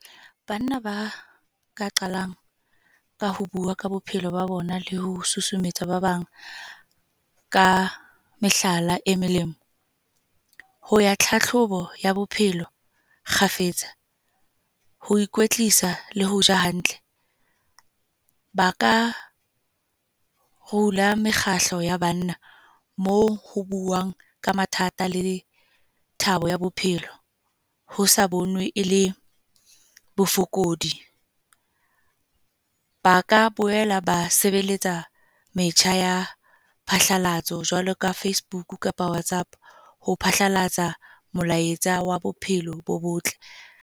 Banna ba, ka qalang ka ho bua ka bophelo ba bona le ho susumetsa ba bang, ka mehlala e melemo. Ho ya tlhahlobo ya bophelo kgafetsa, ho ikwetlisa, le hoja hantle. Ba ka rula mekgahlo ya banna. Moo ho buuwang ka mathata le thabo ya bophelo, ho sa bonwe e le bofokodi. Ba ka boela ba sebeletsa metjha ya phatlalatso, jwalo ka Facebook kapa WhatsApp. Ho phatlalatsa molaetsa wa bophelo bo botle.